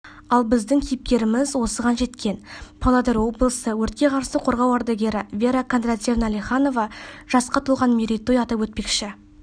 ал біздің кейіпкеріміз осыған жеткен павлодар облысы өртке қарсы қорғау ардагері вера кондратьевна леханова жасқа толған мерейтой атап өтпекші